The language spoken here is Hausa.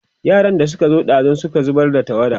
yaran da Suka zo ɗazun Suka zubar da tawada